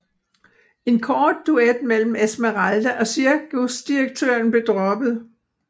En kort duet mellem Esmeralda og cirkusdirektøren blev droppet